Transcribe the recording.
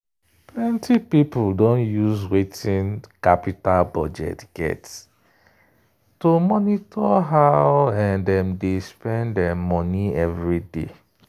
plenty people don use wetin qapital budget get to monitor how dem dey spend money everyday.